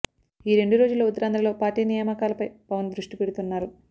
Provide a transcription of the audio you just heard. ఈ రెండు రోజుల్లో ఉత్తరాంధ్ర లో పార్టీ నియామకాల పై పవన్ దృష్టి పెడుతున్నారు